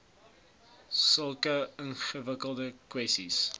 sulke ingewikkelde kwessies